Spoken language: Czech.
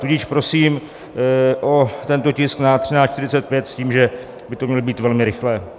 Tudíž prosím o tento tisk na 13.45 s tím, že by to mělo být velmi rychlé.